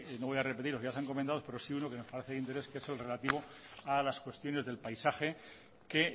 no voy a repetir porque ya se han comentado pero sí uno que nos parece de interés que es el relativo a las cuestiones del paisaje que